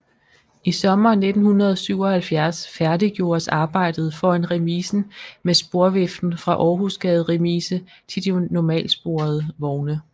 I sommeren 1977 færdiggjordes arbejdet foran remisen med sporviften fra Århusgade Remise til de normalsporede vogne